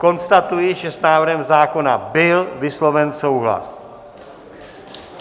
Konstatuji, že s návrhem zákona byl vysloven souhlas.